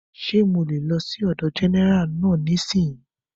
Ṣé mo lè lọ sí ọ̀dọ̀ gẹ́nẹ́rà náà nísìínyi?